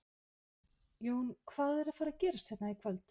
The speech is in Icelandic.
Jón, hvað er að fara að gerast hérna í kvöld?